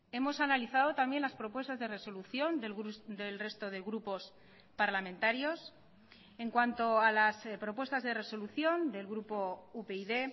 hemos analizado también las propuestas de resolución del resto de grupos parlamentarios en cuanto a las propuestas de resolución del grupo upyd